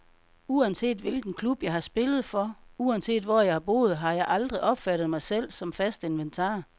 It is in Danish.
Uanset hvilken klub jeg har spillet for, uanset hvor jeg har boet, har jeg aldrig opfattet mig selv som fast inventar.